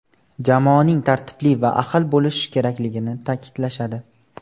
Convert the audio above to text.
Jamoaning tartibli va ahil bo‘lish kerakligini ta’kidlashadi.